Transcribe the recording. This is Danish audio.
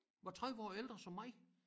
Var 30 ældre som mig